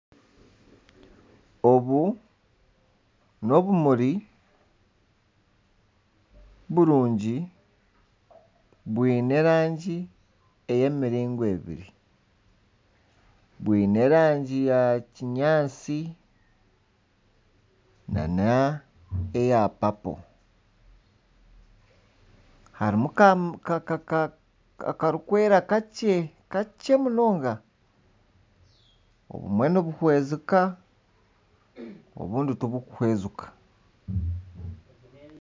Obu n'obumuri burungi bwiine erangi ey'emiringo ebiri. Bwiine erangi ya kinyaatsi nana eya papo harimu akarikwera kakye, kakye munonga. Obumwe nibuhwezeka obundi tiburi kuhwezeka.